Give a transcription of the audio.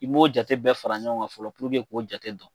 I b'o jate bɛɛ fara ɲɔgɔn kan fɔlɔ k'o jate dɔn.